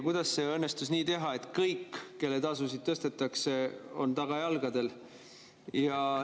Kuidas õnnestus teha nii, et kõik, kelle tasusid tõstetakse, on tagajalgadel?